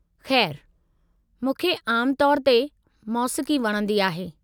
खै़रु, मूंखे आम तौर ते मौसीक़ी वणंदी आहे।